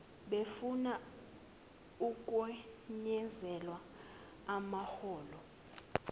befuna ukwenyuselwa amaholo